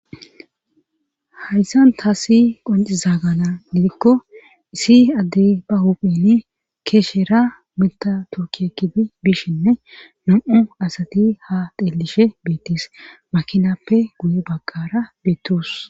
hayssan ta si qoncizagana didikko isi addey ba huphini keeshera mita turkiekibi bishinne nam7u asati ha xeellishe beettes makinappe guye bagqara beettos